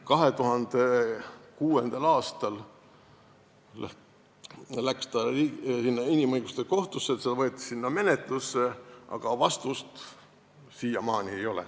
2006. aastal läks see asi inimõiguste kohtusse, see võeti menetlusse, aga vastust siiamaani ei ole.